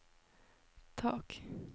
tak